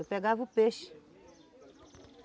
Eu pegava o peixe.